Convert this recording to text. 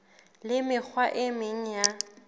le mekgwa e meng ya